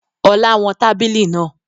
Ọlá wọn tábìlì náà